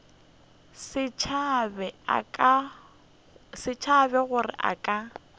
se tsebe gore a ka